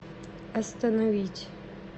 остановить